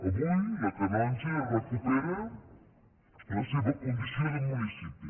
avui la canonja recupera la seva condició de municipi